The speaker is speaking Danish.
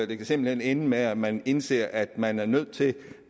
det kan simpelt hen ende med at man indser at man er nødt til